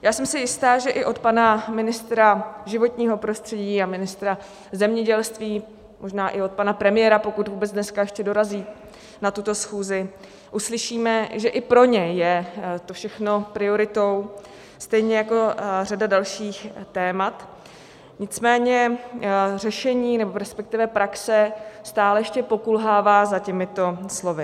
Já jsem si jista, že i od pana ministra životního prostředí a ministra zemědělství, možná i od pana premiéra, pokud vůbec dneska ještě dorazí na tuto schůzi, uslyšíme, že i pro něj je to všechno prioritou, stejně jako řada dalších témat, nicméně řešení, nebo respektive praxe stále ještě pokulhává za těmito slovy.